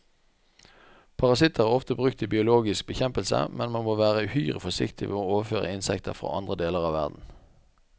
Parasitter er ofte brukt til biologisk bekjempelse, men man må være uhyre forsiktig med å overføre insekter fra andre deler av verden.